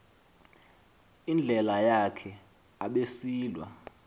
indlela yakhe abesilwa